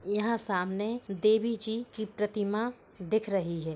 यहां सामने देवी जी की प्रतिमा दिख रही है।